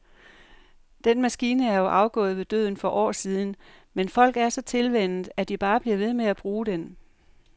Den maskine er jo afgået ved døden for år siden, men folk er så tilvænnet, at de bare bliver ved med at bruge den.